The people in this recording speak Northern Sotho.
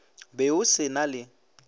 be o se na le